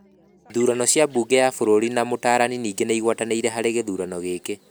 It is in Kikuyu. Ithurano cia Bunge ya bũrũri na Mũtaarani ningĩ nĩ ũgwatanĩrĩte harĩ gĩthurano gĩkĩ.